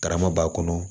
Karama b'a kɔnɔ